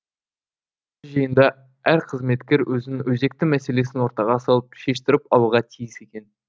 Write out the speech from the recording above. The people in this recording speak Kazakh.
жиында әр қызметкер өзінің өзекті мәселесін ортаға салып шештіріп алуға тиіс екен